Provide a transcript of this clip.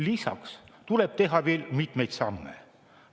Lisaks tuleb teha mitmeid samme.